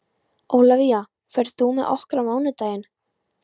Ólafía, ferð þú með okkur á mánudaginn?